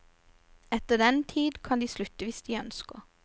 Etter den tid kan de slutte hvis de ønsker.